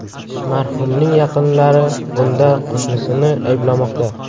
Marhumning yaqinlari bunda qo‘shnisini ayblamoqda.